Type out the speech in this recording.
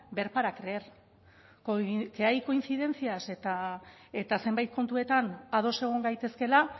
ver para creer que hay coincidencias eta zenbait kontuetan ados egon gaitezkeela